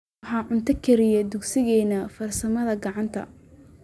Waa cunto kariye dugsigeena farsamada gacanta